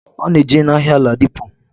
Ona eje na ahia aldipo.